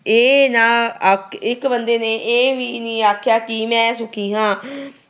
ਇਹ ਨਾ ਆਖ ਅਹ ਇੱਕ ਬੰਦੇ ਨੇ ਇਹ ਵੀ ਨਹੀਂ ਆਖਿਆ ਕਿ ਮੈਂ ਸੁਖੀ ਹਾਂ।